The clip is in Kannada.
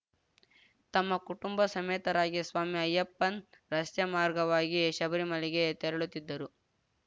ತಮ್ಮ ಕುಟುಂಬ ಸಮೇತರಾಗಿ ಸ್ವಾಮಿ ಅಯ್ಯಪ್ಪನ್‌ ರಸ್ತೆ ಮಾರ್ಗವಾಗಿ ಶಬರಿಮಲೆಗೆ ತೆರಳುತ್ತಿದ್ದರು